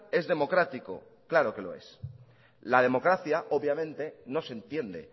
es democrático claro que lo es la democracia obviamente no se entiende